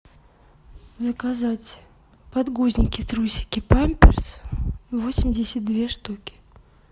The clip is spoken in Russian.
заказать подгузники трусики памперс восемьдесят две штуки